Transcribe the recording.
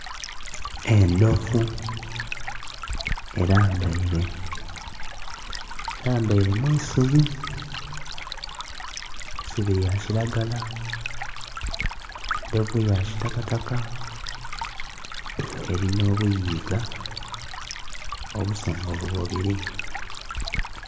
Endhovu elambaire, elambaire mu isubi, eisubi lya kilagala, endhovu ya kitakataka elinha obuyiiga obusongovu bubili.